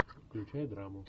включай драму